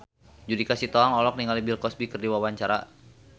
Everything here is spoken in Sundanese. Judika Sitohang olohok ningali Bill Cosby keur diwawancara